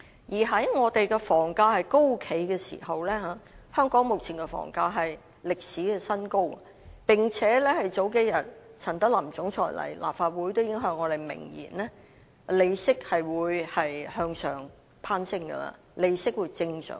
現時我們的房價高企，目前的房價更是歷史新高，並且在數天前，陳德霖總裁出席立法會會議時已向我們明言，利息將向上攀升並正常化。